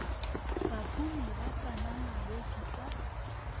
bahumi ba sa ngangabetše ka